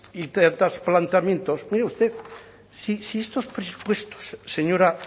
y tantos planteamientos mire usted si estos presupuestos señora